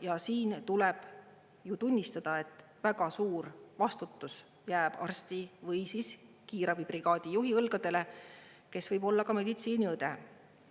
Ja siin tuleb ju tunnistada, et väga suur vastutus jääb arsti või siis kiirabibrigaadi juhi õlgadele, kes võib olla ka meditsiiniõde,